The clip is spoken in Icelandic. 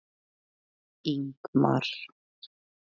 Ingmar